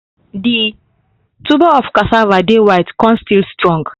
the tuber of casava dey white con still strong